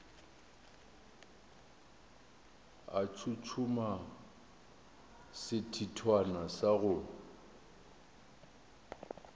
a tshotshoma sethithwana sa go